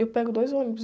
Eu pego dois ônibus.